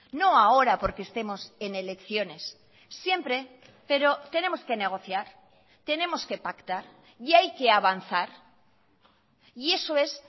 no ahora porque estemos en elecciones siempre pero tenemos que negociar tenemos que pactar y hay que avanzar y eso es